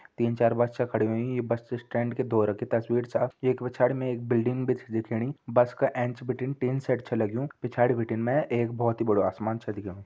तीन चार बस छ खड़ी हुईं ये बस स्टैंड के धोरा की तस्वीर छ एक पिछाड़ी में एक बिल्डिंग भी छ दिखेणी बस का एंच बिटिन टिन शेड छ लग्यूँ पिछाड़ी बिटिन एक बहुत ही बड़ु आसमान छ दिखेणु।